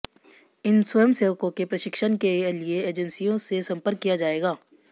इन स्वयंसेवकों के प्रशिक्षण के लिए एजेंसियों से संपर्क किया जाएगा